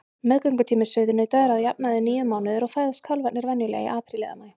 Meðgöngutími sauðnauta er að jafnaði níu mánuðir og fæðast kálfarnir venjulega í apríl eða maí.